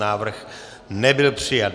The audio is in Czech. Návrh nebyl přijat.